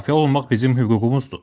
Müdafiə olunmaq bizim hüququmuzdur.